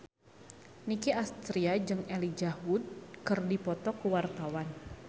Nicky Astria jeung Elijah Wood keur dipoto ku wartawan